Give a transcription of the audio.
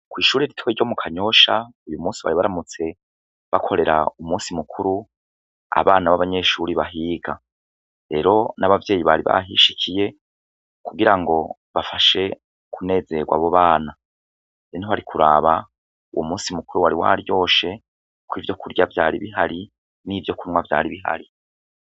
Kw'ishure rito ryo mukanyosha uyumusi bari baramutse gukorera umusi mukuru abana babanyeshure bahiga rero n'abavyeyi bari bahishikiye kugira ngo bafashe kunezerwa abo bana ntiwari kuraba umusi mukuru wari waryoshe ko ivyo kurya vyari bihari n'ivyo kunywa vyari bihari.